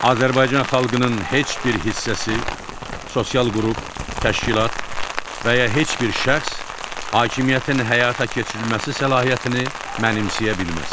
Azərbaycan xalqının heç bir hissəsi, sosial qrup, təşkilat və ya heç bir şəxs hakimiyyətin həyata keçirilməsi səlahiyyətini mənimsəyə bilməz.